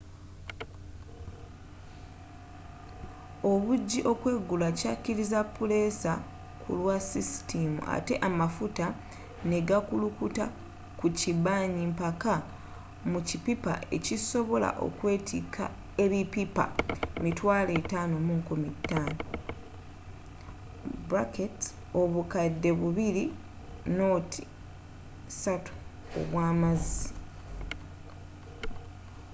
obujji okwegula kyakkirizza puleesa kulwa sisitiimu ate amafuta ne gakulukuta ku kibanyi mpaka mu kippipa ekisobola okwetika ebippipa 55,000 obukadde 2.3 obwa mazzi